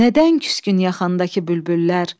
Nədən küsgün yaxandakı bülbüllər?